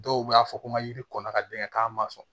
Dɔw b'a fɔ ko ma yiri kɔnna ka dɛngɛ k'a ma sɔn